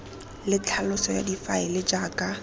le tlhaloso ya difaele jaaka